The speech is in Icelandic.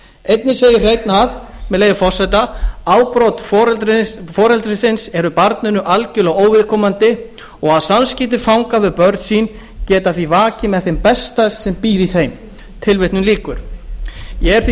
einnig segir hreinn með leyfi forseta afbrot foreldrisins eru barninu algjörlega óviðkomandi og samskipti fanga við börn sín geta því vakið með þeim besta sem býr í þeim ég er því